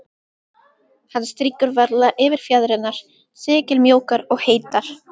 Hann strýkur varlega yfir fjaðrirnar, silkimjúkar og heitar.